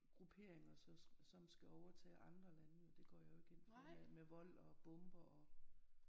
Grupperinger som skal overtage andre lande det går jeg jo ikke ind for med vold og bomber og